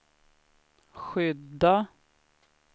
skydda